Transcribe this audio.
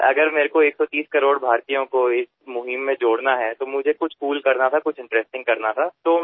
जर मला130 कोटी भारतीयांना या मोहिमेत माझ्यासोबत घेऊन पुढे जायचे असेल तर मला काहीतरी कूल करायचे होते काहीतरी स्वारस्यपूर्ण करायचे होते